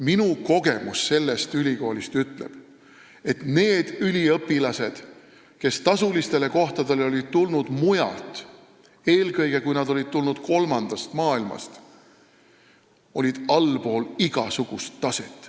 Minu kogemus sellest ülikoolist ütleb, et need üliõpilased, kes tulid tasulistele kohtadele mujalt, eelkõige need, kes tulid Kolmandast Maailmast, olid allpool igasugust taset.